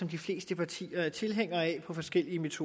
de fleste partier er tilhængere af på forskellig vis